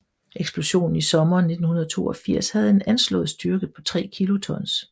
Eksplosionen i sommeren 1982 havde en anslået styrke på 3 kilotons